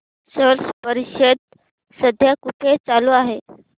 स्लश परिषद सध्या कुठे चालू आहे